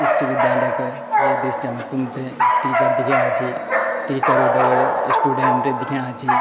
उच्च विद्यालय क् ये दृश्य मा तुम्थे टीचर दिखेणा छी टीचरों (teachers) क् दगड स्टूडेंट दिखेणा छी --